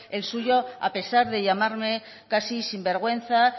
el suyo a pesar de llamarme casi sin vergüenza